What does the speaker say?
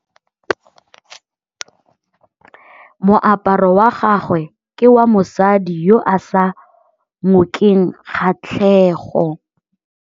Moaparô wa gagwe ke wa mosadi yo o sa ngôkeng kgatlhegô.